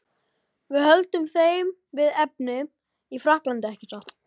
Við höldum þeim við efnið í Frakklandi, ekki satt?